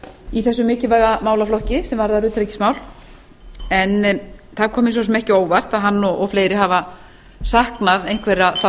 í þessum mikilvæga málaflokki sem varðar utanríkismál en það kom mér svo sem ekki á óvart að hann og fleiri hafa saknað einhverra þátta